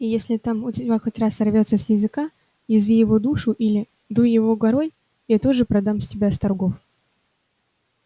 и если там у тебя хоть раз сорвётся с языка язви его душу или дуй его горой я тут же продам тебя с торгов